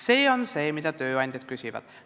See on see, mida tööandjad küsivad.